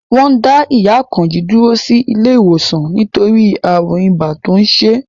Wọ́n dá ìyá Àkànjí dúró sí ilé ìwòsàn nítorí ààrùn ibà tó ń ṣe é